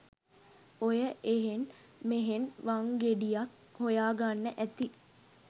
ඔය එහෙන් මෙහෙන් වංගෙඩියක් හොයාගන්න ඇති